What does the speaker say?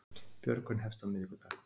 Björgun hefst á miðvikudag